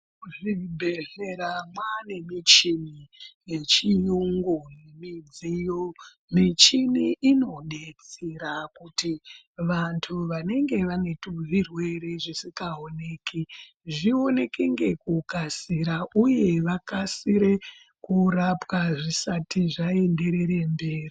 Muzvibhehlera mwaane michini yechiyungu midziyo, michini inodetsera kuti vantu vanenge vane zvirwere zvisingaoneki zvioneke ngekukasira uye vakasire kurapwa zvisati zvaenderere mberi.